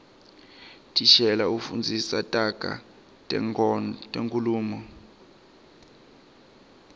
thishela ufundza taga tenkhulumo